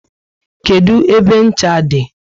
Kedụ ebe ncha dị?